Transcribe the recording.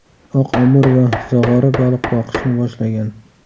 Oq amur va zog‘ora baliq boqishni boshlagan.